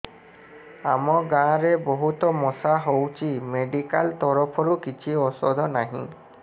ଆମ ଗାଁ ରେ ବହୁତ ମଶା ହଉଚି ମେଡିକାଲ ତରଫରୁ କିଛି ଔଷଧ ନାହିଁ